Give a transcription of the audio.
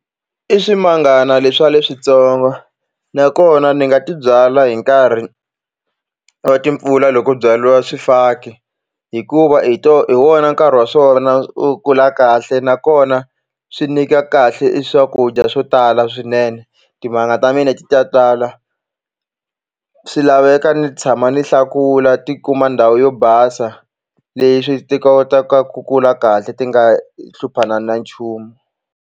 I swimangana leswiya leswintsongo nakona ni nga ti byala hi nkarhi wa timpfula lo kolu byariwa swifaki hikuva hi to hi wona nkarhi wa swona wo kula kahle nakona swi nyika kahle i swakudya swo tala swinene timanga ta mina ti ta tala swi laveka ni tshama ni hlakula ti kuma ndhawu yo basa leswi ti kotaka ku kula kahle ti nga hluphanani na nchumu.